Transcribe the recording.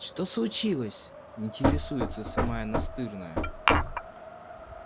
что случилось интересуется самая настырная